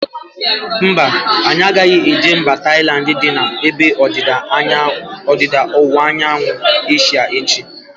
Mba, anyị agaghị eje mba Tailandi dị n'ebe ndịda ọwụwa anyanwụ Asia echi